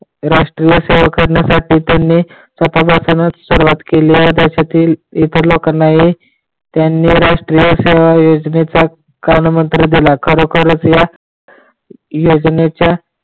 राष्ट्रीय सेवा करण्या साठी त्यांनी स्वातंहपासूनच सुरवात केली आहे. देशातील ईतर लोकांनाही त्यांनी राष्ट्रीय सेवा ही योजनेचा कान मंत्र दिला. खरोखरच या योजनेचा